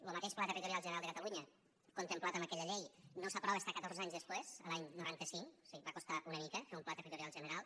lo mateix pla territorial general de catalunya contemplat en aquella llei no s’aprova fins a catorze anys després l’any noranta cinc o sigui va costar una mica fer un pla territorial general